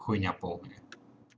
хуйня полная